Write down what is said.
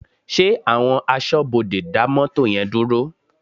Ṣé àwọn aṣọ́bodè dá mọ́tò yẹn dúró?